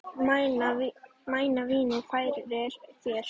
Mæna vínið færir þér.